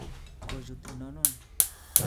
Kochut inonon